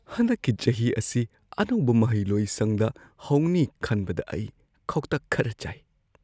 ꯍꯟꯗꯛꯀꯤ ꯆꯍꯤ ꯑꯁꯤ ꯑꯅꯧꯕ ꯃꯍꯩꯂꯣꯏꯁꯪꯗ ꯍꯧꯅꯤ ꯈꯟꯕꯗ ꯑꯩ ꯈꯧꯇꯛ ꯈꯔ ꯆꯥꯏ꯫